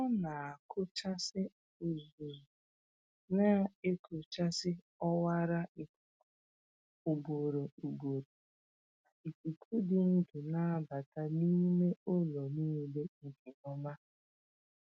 Ọ na-akụchasị uzuzu na-ekochisi ọwara ikuku ugboro ugboro ka ikuku dị ndụ na-abata n’ime ụlọ niile nke Ọma.